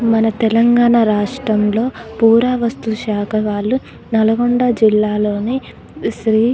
మన తెలంగాణ రాష్ట్రంలో పురావస్తు శాఖ వాళ్ళు నల్గొండ జిల్లాలోని శ్రీ --